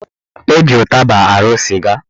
Eji ụtaba arụ sịga